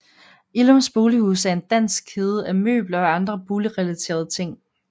Illums Bolighus er en dansk kæde af møbler og andre boligrelaterede ting